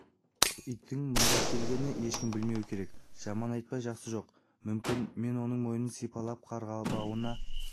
иттің мұнда келгенін ешкім білмеуі керек жаман айтпай жақсы жоқ мүмкін мен оның мойнын сипалап қарғыбауына